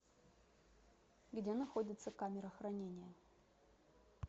где находится камера хранения